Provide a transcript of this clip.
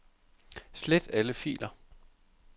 Slet alle filer.